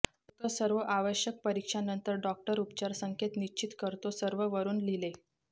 फक्त सर्व आवश्यक परीक्षा नंतर डॉक्टर उपचार संकेत निश्चित करतो सर्व वरून लिहिले